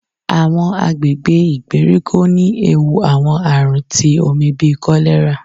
Àwọn àgbègbè ìgbèríko ní ẹwù àwọn àrùn tí omí bí kọlerá